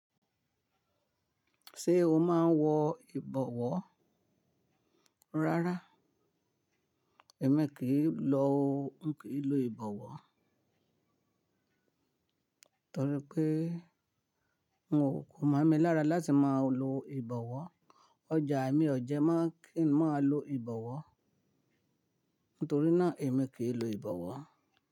Ṣé o máa ń wọ ìbọwọ́? Rárá, èmi kì í lò ń kì í lo ìbọwọ́. Nítorí pé n ò, ko mọ́ mi lára láti mọ lo ìbọwọ́. Ọjà mi o jẹ̀ mọ kí ń mọ lo ìbọwọ́. Nítorí náà èmi kì í lo ìbọwọ́